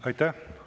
Aitäh!